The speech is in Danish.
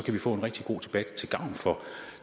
vi få en rigtig god debat til gavn for